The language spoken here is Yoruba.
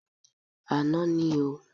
Àná ní o.